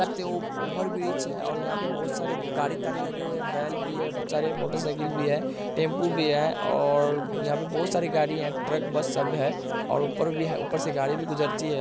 देख सकते हो ओवर ब्रिज है और यहाँ पे बहुत सारे गाड़ी तारी लगे हुए हैं बैल भी है बहुत सारे मोटर साइकिल भी हैं टैम्पू भी है और यहाँ पे बहुत सारे गाड़ी हैं ट्रक बस सब है और ऊपर भी है ऊपर से गाड़ी भी गुजरती है।